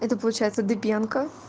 это получается дыбенко